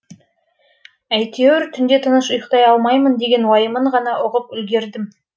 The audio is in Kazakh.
әйтеуір түнде тыныш ұйықтай алмаймын деген уайымын ғана ұғып үлгердім